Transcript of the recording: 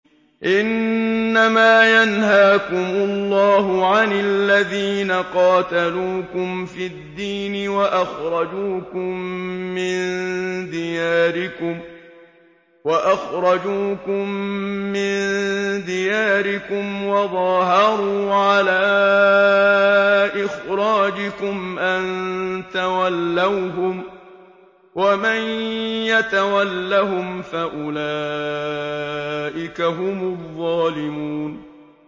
إِنَّمَا يَنْهَاكُمُ اللَّهُ عَنِ الَّذِينَ قَاتَلُوكُمْ فِي الدِّينِ وَأَخْرَجُوكُم مِّن دِيَارِكُمْ وَظَاهَرُوا عَلَىٰ إِخْرَاجِكُمْ أَن تَوَلَّوْهُمْ ۚ وَمَن يَتَوَلَّهُمْ فَأُولَٰئِكَ هُمُ الظَّالِمُونَ